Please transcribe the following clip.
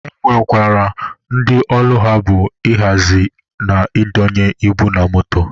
E nwekwara ndị ọlụ ha bụ ị hazi na ị donye ibu na moto.